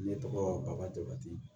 Ne tɔgɔ baka jabati